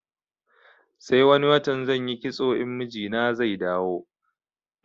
Sai wani watan zanyi kitso in mijina zai dawo